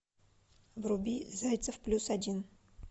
вруби зайцев плюс один